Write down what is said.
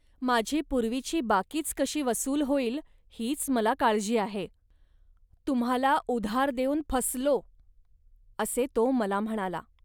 माझी पूर्वीची बाकीच कशी वसूल होईल, हीच मला काळजी आहे. तुम्हांला उधार देऊन फसलो,' असे तो मला म्हणाला